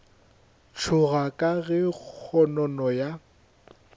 tšhoga ka ge kgonono ya